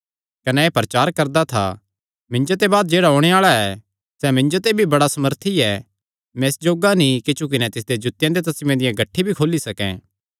कने एह़ प्रचार करदा था मिन्जो ते बाद जेह्ड़ा ओणे आल़ा ऐ सैह़ मिन्जो ते भी बड़ा सामर्थी ऐ मैं इस जोग्गा नीं कि झुकी नैं तिसदे जूत्तेयां दे तस्मेआं दियां गठ्ठी भी खोली सकैं